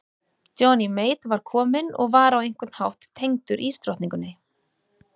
Johnny Mate var kominn og var á einhvern hátt tengdur ísdrottningunni.